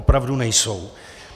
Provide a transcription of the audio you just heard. Opravdu nejsou.